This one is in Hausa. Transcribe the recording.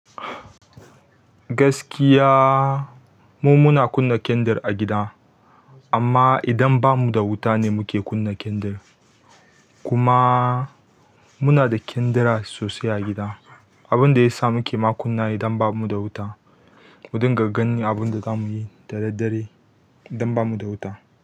Gaskiya, mu muna kunna kendir a gida, amma idan ba mu da wuta ne muke kunna kendir. Kuma muna da kendira sosai a gida. Abin da ya sa muke ma kunna ne idan ba mu da wuta. Mu dinga ganin abin da za mu yi da daddare idan ba mu da wuta.